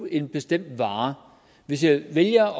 en bestemt vare hvis jeg vælger at